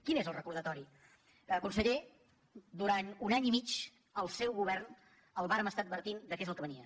quin és el recordatori conseller durant un any i mig al seu govern el vàrem estar advertint de què és el que venia